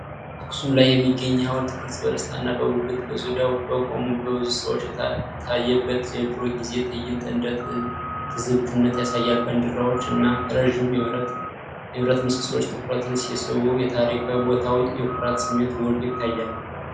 አክሱም ላይ የሚገኝ የሐውልት ቅርጽ፣ በደስታና በጉጉት በዙሪያው በቆሙ በብዙ ሰዎች የታየበትን የድሮ ጊዜ ትዕይንት እንደ ትዝብትነት ያሳያል። ባንዲራዎች እና ረዣዥም የብርሃን ምሰሶዎች ትኩረትን ሲስቡ፤ የታሪካዊ ቦታው የኩራት ስሜት ጎልቶ ይታያል።